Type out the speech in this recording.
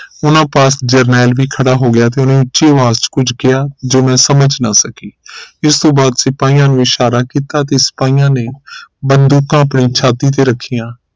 ਉਨ੍ਹਾਂ ਪਾਸ ਜਰਨੈਲ ਵੀ ਖੜਾ ਹੋ ਗਿਆ ਤੇ ਉਨ੍ਹੇ ਉੱਚੀ ਆਵਾਜ਼ ਕੁਝ ਕਿਹਾ ਜੋ ਮੈਂ ਸਮਝ ਨਾ ਸਕੀ ਇਸ ਤੋਂ ਬਾਅਦ ਸਿਪਾਹੀਆਂ ਨੇ ਇਸ਼ਾਰਾ ਕੀਤਾ ਤੇ ਸਿਪਾਹੀਆਂ ਨੇ ਬੰਦੂਕਾਂ ਆਪਣੀ ਛਾਤੀ ਤੇ ਰੱਖੀਆਂ